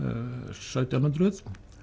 sautján hundruð